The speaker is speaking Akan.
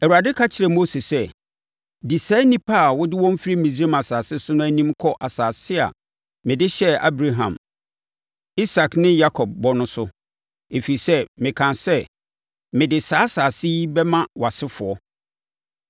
Awurade ka kyerɛɛ Mose sɛ, “Di saa nnipa a wode wɔn firi Misraim asase so no anim kɔ asase a mede hyɛɛ Abraham, Isak ne Yakob bɔ no so, ɛfiri sɛ, mekaa sɛ, ‘Mede saa asase yi bɛma wʼasefoɔ.’